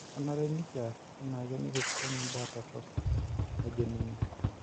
Kenare nekiarr enaake nekisukeny imbaa torrok'', nejo ninye.